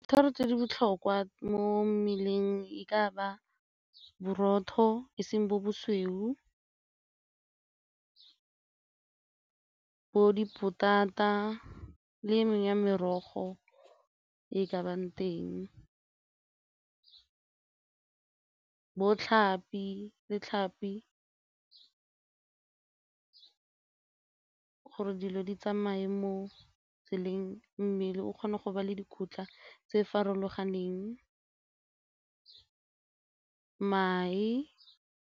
Thoro tse di botlhokwa mo mmeleng e ka ba borotho e seng bo bosweu, bo dipotata le e mengwe ya merogo e e ke bang teng, bo tlhapi le ditlhapi gore dilo di tsamaye mo tseleng mmele o kgona go ba le dikotla tse farologaneng, mae.